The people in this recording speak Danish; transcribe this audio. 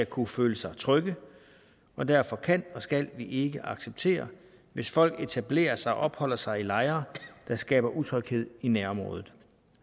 kunne føle sig trygge og derfor kan og skal vi ikke acceptere hvis folk etablerer sig og opholder sig i lejre der skaber utryghed i nærområdet